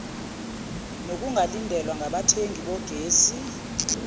nokungalindelwa ngabathengi bogesi